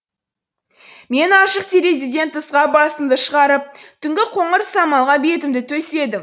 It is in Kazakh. мен ашық терезеден тысқа басымды шығарып түнгі қоңыр самалға бетімді төседім